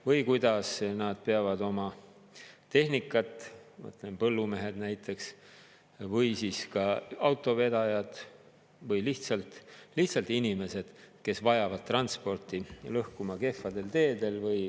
Või kuidas nad peavad oma tehnikat, põllumehed näiteks või siis ka autovedajad või lihtsalt inimesed, kes vajavad transporti, lõhkuma kehvadel teedel.